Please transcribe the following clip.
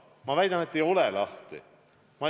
Ma väidan, et ei ole lahti.